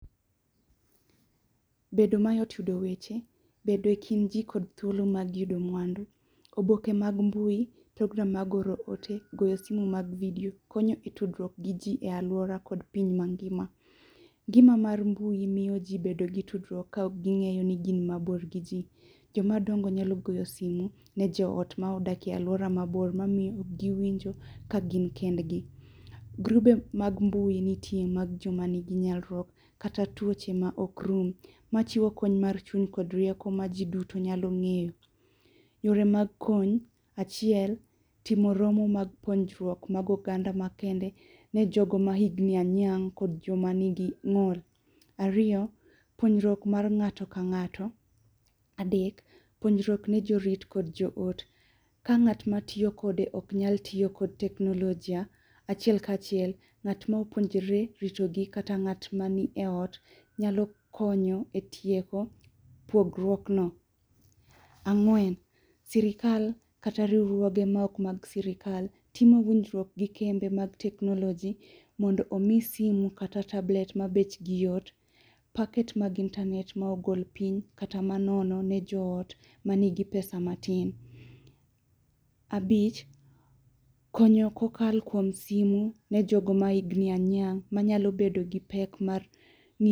Bedo mayot yudo weche, bedo ekind jii kod thuolo mag yudo mwandu, oboke mag mbui, program mag oro ote, goyo simu mar video konyo tudruok gi jii e aluora kod piny mangima. Gino mar mbui miyo jii bedo gi tudruok kaok gingeyo ni gin mabor gi jii. Joma dongo nyalo goyo simu ne joot modak e aluora mabor mamiyo giwinjo ka gin kendgi. Grube mag mbui nitie mag joma nigi nyalruok kata tuoche ma ok rum machiwo kony mar chuny kod rieko ma jii duto nyalo ngeyo. Yore mag kony, achiel ,timo romo mag puonjruok mag oganda ma kende ne jogo ma higni anyiang' kod joma nigi ng'ol. Ariyo, puonjruok mar ng'ato ka ng'ato. Adek, puonjruok ne jorit kod jo ote, ka ng'atma tiyo kode ok nyal tiyo kod teknolojia achiel kachiel, ng'at mapuonire rito gi kata ng'at manie ot nyalo konyo e tieko pogruok no.Ang'wen, sirkal kata riwruoge maok mag sirkal timo winjruok gi kembe mag teknoloji mondo omi simu kata tablet ma bechgi yot, packet mag internet ma ogol piny kata manono ne jo ot manigi pesa matin. Abich, konyo kokalo kuom simu ne jogo ma higni anyiang' manyalo bedo gi pek mar